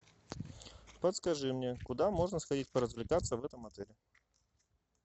подскажи мне куда можно сходить поразвлекаться в этом отеле